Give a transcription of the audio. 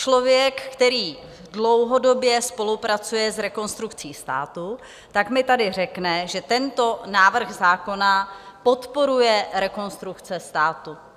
Člověk, který dlouhodobě spolupracuje s Rekonstrukcí státu, tak mi tady řekne, že tento návrh zákona podporuje Rekonstrukce státu.